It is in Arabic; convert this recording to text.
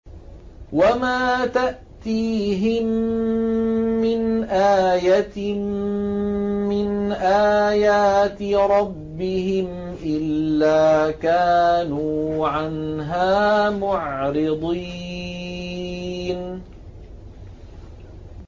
وَمَا تَأْتِيهِم مِّنْ آيَةٍ مِّنْ آيَاتِ رَبِّهِمْ إِلَّا كَانُوا عَنْهَا مُعْرِضِينَ